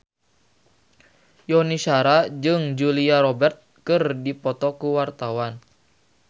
Yuni Shara jeung Julia Robert keur dipoto ku wartawan